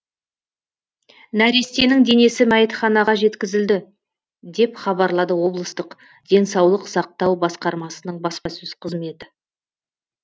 нәрестенің денесі мәйітханаға жеткізілді деп хабарлады облыстық денсаулық сақтау басқармасының баспасөз қызметі